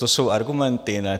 To jsou argumenty?